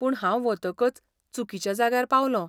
पूण हांव वतकच चुकिच्या जाग्यार पावलों.